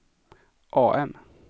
AM